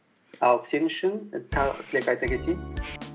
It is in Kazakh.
ал сен үшін тағы тілек айта кетейін